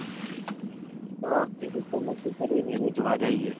વિરુશ્ર નક્કી કરી ને ને જોવા જયીયે.